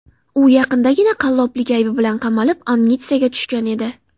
U yaqindagina qalloblik aybi bilan qamalib, amnistiyaga tushgan edi.